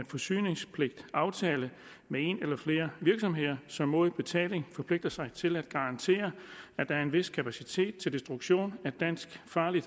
forsyningspligtaftale med en eller flere virksomheder som mod betaling forpligter sig til at garantere at der er en vis kapacitet til destruktion af farligt